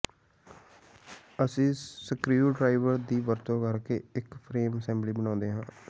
ਅਸੀਂ ਸਕ੍ਰਿਡ੍ਰਾਈਵਰ ਦੀ ਵਰਤੋਂ ਕਰਕੇ ਇੱਕ ਫਰੇਮ ਅਸੈਂਬਲੀ ਬਣਾਉਂਦੇ ਹਾਂ